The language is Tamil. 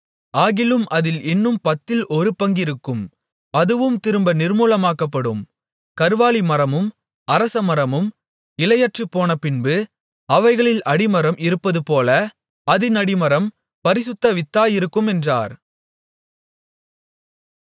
ஆகிலும் அதில் இன்னும் பத்தில் ஒரு பங்கிருக்கும் அதுவும் திரும்ப நிர்மூலமாக்கப்படும் கர்வாலிமரமும் அரசமரமும் இலையற்றுப்போனபின்பு அவைகளில் அடிமரம் இருப்பதுபோல அதின் அடிமரம் பரிசுத்த வித்தாயிருக்கும் என்றார்